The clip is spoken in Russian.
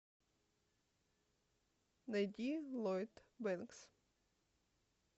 найди ллойд бэнкс